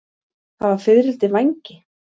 Hafa fiðrildi vængi?